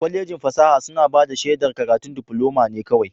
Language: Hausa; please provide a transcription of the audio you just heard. Kwallejin fasaha suna bada shedar karatun diploma ne kawai.